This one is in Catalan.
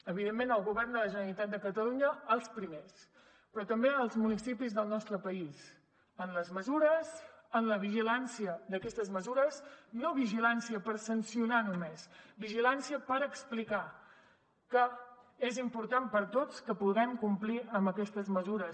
evidentment el govern de la generalitat de catalunya els primers però també els municipis del nostre país en les mesures en la vigilància d’aquestes mesures no vigilància per sancionar només vigilància per explicar que és important per a tots que puguem complir amb aquestes mesures